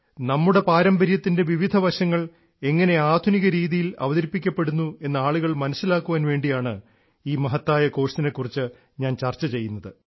നമ്മുടെ പാരമ്പര്യത്തിൻറെ വിവിധ വശങ്ങൾ എങ്ങിനെ ആധുനിക രീതിയിൽ അവതരിപ്പിക്കപ്പെടുന്നു എന്നു ആളുകൾ മനസ്സിലാക്കാൻ വേണ്ടിയാണ് ഈ മഹത്തായ കോഴ്സിനെ കുറിച്ച് ഞാൻ ചർച്ച ചെയ്യുന്നത്